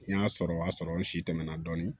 N y'a sɔrɔ o y'a sɔrɔ n si tɛmɛ na dɔɔnin